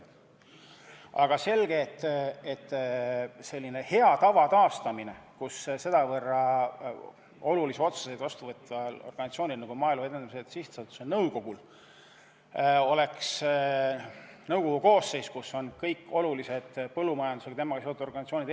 On päris selge, et tuleks taastada hea tava, et sedavõrd olulisi otsuseid vastu võtvas organisatsioonis, nagu Maaelu Edendamise Sihtasutus on, oleks nõukogu koosseisus esindatud kõik olulised põllumajandusega seotud organisatsioonid.